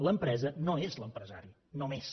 l’empresa no és l’empresari només